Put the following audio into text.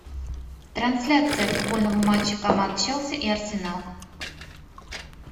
трансляция футбольного матча команд челси и арсенал